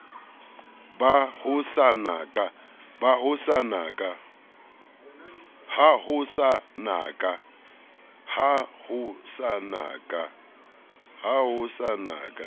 ha ho sa na ka